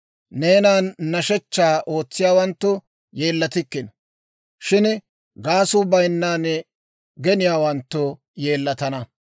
Neenan hidootaa ootsiyaawanttu yeellatikkino; shin gaasuu bayinnan geniyaawanttu yeellatana.